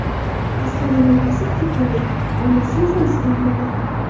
Aslining otasi kiprlik, onasi esa Istanbuldan.